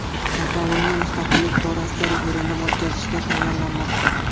Kataloniya mustaqillik borasida referendum o‘tkazishga tayyorlanmoqda.